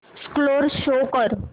score show कर